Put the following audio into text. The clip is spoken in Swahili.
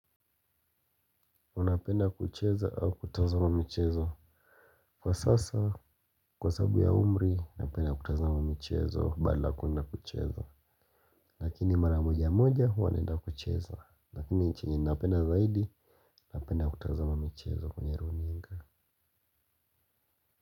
Unapenda kucheza ama kutazama michezo kwa sasa kwa sababu ya umri napenda kutazama michezo bana hakuna kucheza. Lakini mara moja moja huwa naenda kuchezo. Lakini chenye napenda zaidi napenda kutazama michezo kwenye runinga.